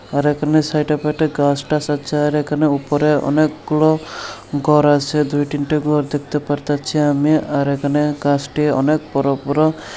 আর এখানে সাইডে-ফাইডে গাছ-টাছ আছে আর এইখানে উপরে অনেকগুলো ঘর আছে দুই তিনটা ঘর দেখতে পারতাছি আমি আর এইখানে গাছটি অনেক বড় বড়--